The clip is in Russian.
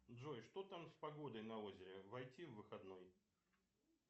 джой что там с погодой на озере войти в выходной